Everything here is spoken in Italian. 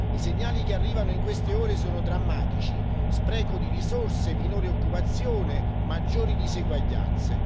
I segnali che arrivano in queste ore sono drammatici spreco di risorse, minore occupazione, maggiori diseguaglianze.